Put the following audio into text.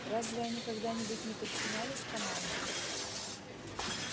разве они когда-нибудь не подчинялись команде